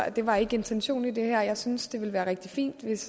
at det var intentionen med det her jeg synes det ville være rigtig fint hvis